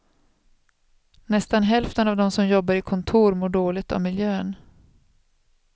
Nästan hälften av dem som jobbar i kontor mår dåligt av miljön.